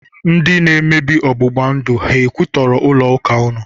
Ndi na-emebi ọgbụgba ndụ ha kwụtọrọ ụlọ ụka unu?